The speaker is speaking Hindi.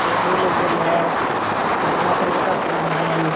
टेबुल उबुल है उजला कलर का फूल है।